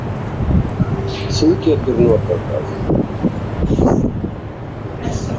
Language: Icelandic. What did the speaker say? Þú getur notað það.